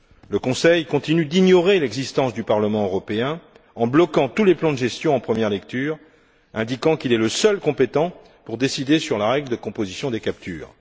Le Conseil continue d'ignorer l'existence du Parlement européen en bloquant tous les plans de gestion en première lecture, indiquant qu'il est le seul compétent pour décider sur la règle de composition des captures.